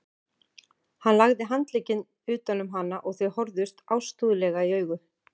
Hann lagði handlegginn utan um hana og þau horfðust ástúðlega í augu.